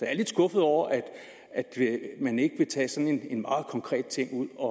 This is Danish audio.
er lidt skuffet over at man ikke vil tage sådan en meget konkret ting ud og